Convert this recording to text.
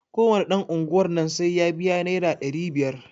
Ko wane ɗan unguwar nan sai ya biya naira ɗari biyar.